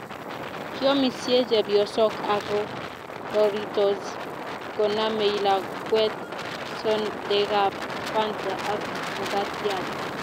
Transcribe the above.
Kiomisie chepyosok ako roritos konamei lakwet sodekap fanta ak makatiat